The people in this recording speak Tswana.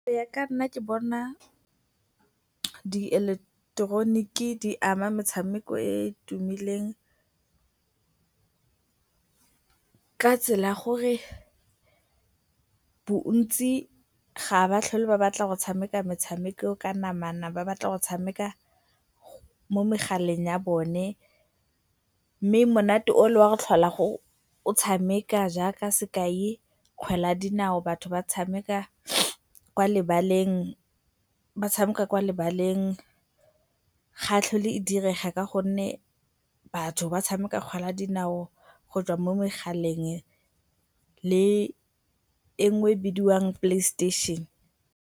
Go ya ka nna ke bona dieleketeroniki di ama metshameko e e tumileng ka tsela ya gore bontsi ga ba tlhole ba batla go tshameka metshameko ka namana, ba batla go tshameka mo megaleng ya bone mme monate ole wa go tlhola o tshameka jaaka sekai, kgwele ya dinao batho ba tshameka kwa lebaleng ga e tlhole e direga ka gonne batho ba tshameka kgwele ya dinao go tswa mo megaleng, le e nngwe e bidiwang playstation.